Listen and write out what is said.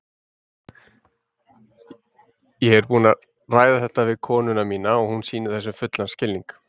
Ég er búinn að ræða þetta við konuna mína og hún sýnir þessu fullan skilning.